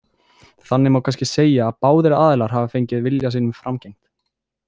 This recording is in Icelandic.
Þannig má kannski segja að báðir aðilar hafi fengið vilja sínum framgengt.